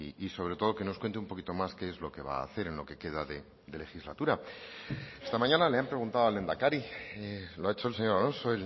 y sobre todo que nos cuente un poquito más qué es lo que va a hacer en lo que queda de legislatura esta mañana le han preguntado al lehendakari lo ha hecho el señor alonso